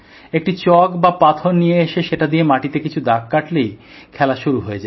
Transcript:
একটি চক বা পাথর নিয়ে এসে সেটা দিয়ে মাটিতে কিছু দাগ কাটলেই খেলা শুরু হয়ে যায়